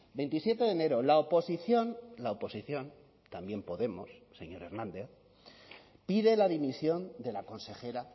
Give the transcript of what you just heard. veintisiete de enero la oposición la oposición también podemos señor hernández pide la dimisión de la consejera